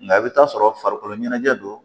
Nka i bɛ t'a sɔrɔ farikolo ɲɛnajɛ don